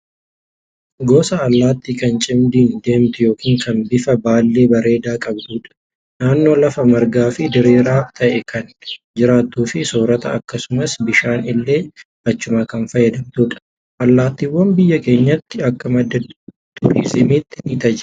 Gosa Allaattii kan cimdiin deemtuu, kan bifa yookaan baallee bareedaa qabdudha. Naannoo lafa margaa fi diriiraa ta'e kan jiraattuu fi soorata akkasumas bishaan ishee achumaa kan fayyadamtudha. Allaattiiwwan biyya keenyatti akka madda turiizimiitti ni tajaajilu.